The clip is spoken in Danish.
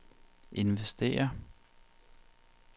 investere